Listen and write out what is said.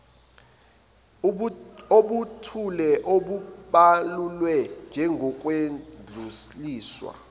obuthile obubalulwe njengokwedluliswa